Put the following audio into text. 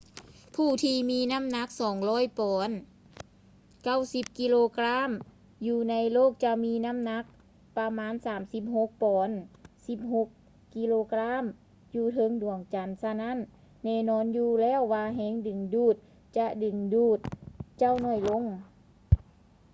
ຜູ້ທີ່ມີນໍ້າໜັກ 200 ປອນ 90 ກິໂລກຣາມ ຢູ່ໃນໂລກຈະມີນໍ້າໜັກປະມານ 36 ປອນ 16 ກິໂລກຣາມ ຢູ່ເທິງດວງຈັນ. ສະນັ້ນ ແນ່ນອນຢູ່ແລ້ວວ່າແຮງດຶງດູດຈະດຶງດູດເຈົ້າໜ້ອຍລົງ